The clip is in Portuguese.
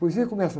A poesia começa.